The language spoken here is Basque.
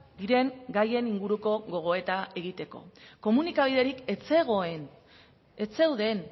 diren gaien inguruko gogoeta egiteko komunikabiderik ez zegoen ez zeuden